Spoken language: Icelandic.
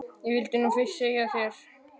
Ég vildi nú fyrst segja þér þetta.